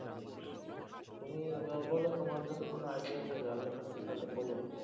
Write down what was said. তুমি বলো তোমার যদি কোন idea থাকে আগে থাকতে তাহলে বল